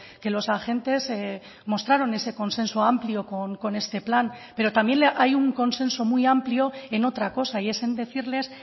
que los agentes mostraron ese consenso amplio con este plan pero también hay un consenso muy amplio en otra cosa y es en decirles